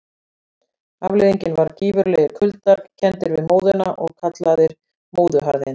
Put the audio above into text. Afleiðingin var gífurlegir kuldar, kenndir við móðuna og kallaðir móðuharðindi.